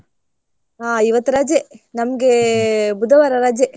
ಹಾ ಇವತ್ ರಜೆ. ನಂಗೆ ಬುಧವಾರ ರಜೆ.